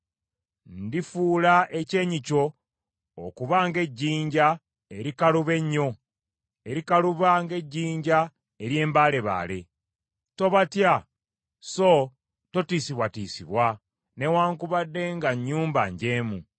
Ndifuula ekyenyi kyo okuba ng’ejjinja erikaluba ennyo, erikaluba ng’ejjinja ery’embaalebaale. Tobatya so totiisibwatiisibwa, newaakubadde nga nnyumba njeemu.”